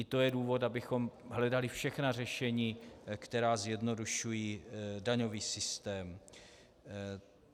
I to je důvod, abychom hledali všechna řešení, která zjednodušují daňový systém.